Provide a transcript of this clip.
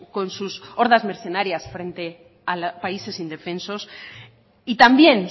con sus hordas mercenarias frente a países indefensos y también